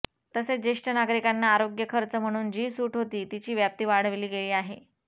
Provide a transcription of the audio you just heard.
तसेच ज्येष्ठ नागरिकांना आरोग्यखर्च म्हणून जी सूट होती तिची व्याप्ती वाढवली गेली आहे